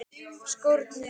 Skórnir hans.